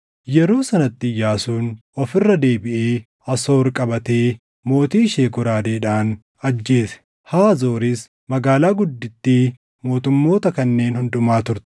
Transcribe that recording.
Yeroo sanatti Iyyaasuun of irra deebiʼee Asoor qabatee mootii ishee goraadeedhaan ajjeese. Haazooris magaalaa guddittii mootummoota kanneen hundumaa turte.